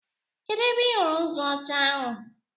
Kedụ ebe ị hụrụ nzu ọcha ahụ?